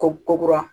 Ko kuru kura